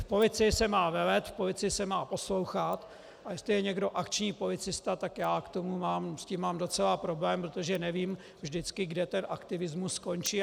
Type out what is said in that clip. V policii se má velet, v policii se má poslouchat, a jestli je někdo akční policista, tak já s tím mám docela problém, protože nevím vždycky, kde ten aktivismus skončí.